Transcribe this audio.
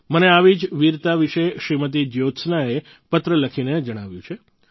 મને આવી જ વીરતા વિશે શ્રીમતી જ્યોત્સનાએ પત્ર લખીને જણાવ્યું છે